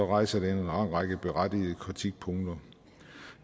rejser det en lang række berettigede kritikpunkter